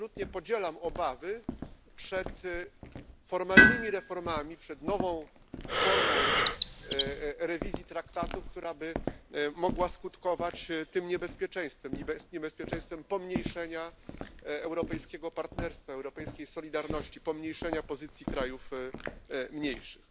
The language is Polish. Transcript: Absolutnie podzielam obawy przed formalnymi reformami, przed nową formą rewizji traktatów, która by mogła skutkować tym niebezpieczeństwem niebezpieczeństwem pomniejszenia europejskiego partnerstwa, europejskiej solidarności, pomniejszenia pozycji krajów mniejszych.